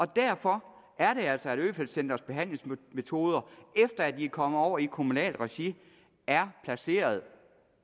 derfor er det altså sådan at øfeldt centrets behandlingsmetoder efter at de er kommet over i kommunalt regi er placeret